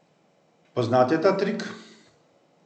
Poznate ta trik?